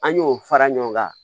An y'o fara ɲɔgɔn kan